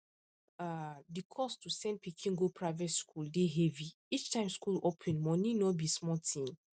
um the cost to send pikin go private school dey heavy each time school open money no be small thing